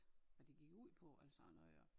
Hvad det gik ud på eller sådan noget jo